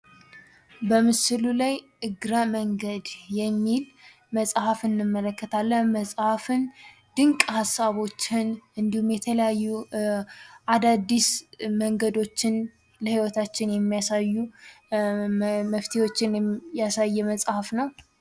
በምሥሉ ላይ እግረ መንገድ የሚል መጽሐፍ እንመለከታለን። መጽሐፍን ድንቅ ሀሳቦችን እንዲሁም፤ የተለያዩ አዳዲስ መንገዶችን ለሕይወታችን የሚያሳዩ መፍትሄዎችንም ያሳየ መጽሐፍ ነው።